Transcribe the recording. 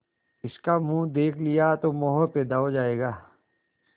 इसका मुंह देख लिया तो मोह पैदा हो जाएगा